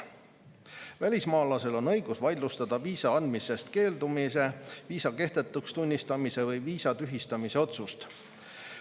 Välismaalasel on õigus vaidlustada viisa andmisest keeldumise, viisa kehtetuks tunnistamise või viisa tühistamise otsust.